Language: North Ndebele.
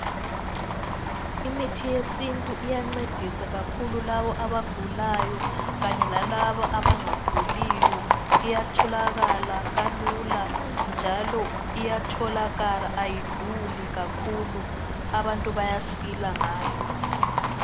Imithi yesintu iyancedisa kakhulu laba abagulayo kanye lalaba abangaguliyo. Iyatholakala kalula njalo iyatholakala ayiduli kakhulu. Abantu bayasila ngayo.